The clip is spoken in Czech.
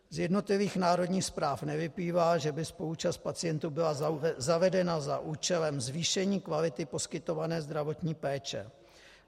Z jednotlivých národních zpráv nevyplývá, že by spoluúčast pacientů byla zavedena za účelem zvýšení kvality poskytované zdravotní péče.